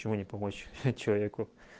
почему не помочь человеку